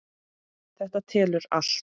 Þetta telur allt.